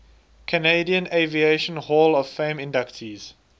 canadian aviation hall of fame inductees